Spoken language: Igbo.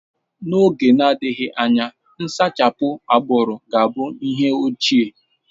N'oge na-adịghị anya, nsachapụ agbụrụ ga-abụ ihe ochie.